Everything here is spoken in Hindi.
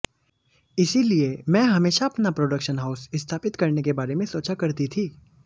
इसीलिए मैं हमेशा अपना प्रोडक्शन हाउस स्थापित करने के बारे में सोचा करती थी